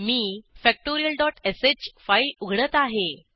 मी factorialश फाईल उघडत आहे